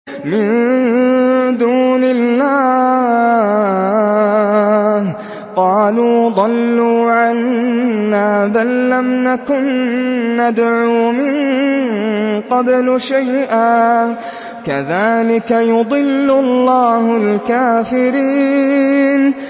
مِن دُونِ اللَّهِ ۖ قَالُوا ضَلُّوا عَنَّا بَل لَّمْ نَكُن نَّدْعُو مِن قَبْلُ شَيْئًا ۚ كَذَٰلِكَ يُضِلُّ اللَّهُ الْكَافِرِينَ